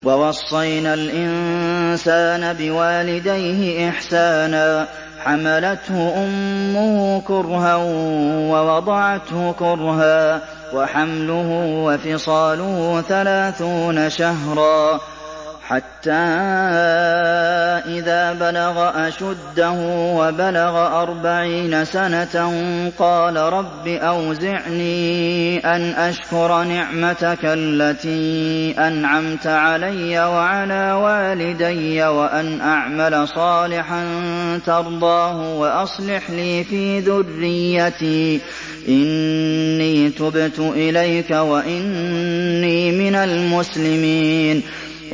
وَوَصَّيْنَا الْإِنسَانَ بِوَالِدَيْهِ إِحْسَانًا ۖ حَمَلَتْهُ أُمُّهُ كُرْهًا وَوَضَعَتْهُ كُرْهًا ۖ وَحَمْلُهُ وَفِصَالُهُ ثَلَاثُونَ شَهْرًا ۚ حَتَّىٰ إِذَا بَلَغَ أَشُدَّهُ وَبَلَغَ أَرْبَعِينَ سَنَةً قَالَ رَبِّ أَوْزِعْنِي أَنْ أَشْكُرَ نِعْمَتَكَ الَّتِي أَنْعَمْتَ عَلَيَّ وَعَلَىٰ وَالِدَيَّ وَأَنْ أَعْمَلَ صَالِحًا تَرْضَاهُ وَأَصْلِحْ لِي فِي ذُرِّيَّتِي ۖ إِنِّي تُبْتُ إِلَيْكَ وَإِنِّي مِنَ الْمُسْلِمِينَ